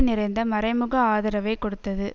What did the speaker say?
நிறைந்த மறைமுக ஆதரவைக் கொடுத்தது